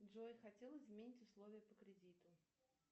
джой хотела изменить условия по кредиту